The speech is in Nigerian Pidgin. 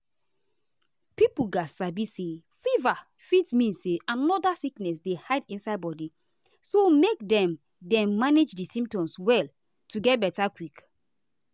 pipo gatz sabi say fever fit mean say another sickness dey hide inside body so make dem dem manage di symptoms well to get beta quick.